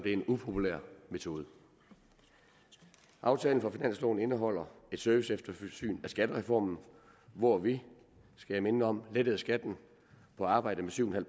en upopulær metode aftalen for finansloven indeholder et serviceeftersyn af skattereformen hvor vi skal jeg minde om lettede skatten på arbejde med syv